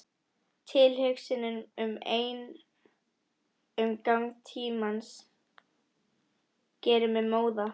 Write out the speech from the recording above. Tilhugsunin ein um gang tímans gerir mig móða.